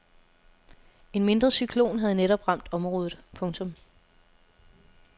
En mindre cyklon havde netop ramt området. punktum